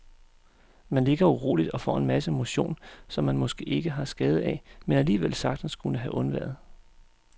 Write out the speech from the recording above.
Man ligger uroligt og får en masse motion, som man måske ikke har skade af, men alligevel sagtens kunne have undværet.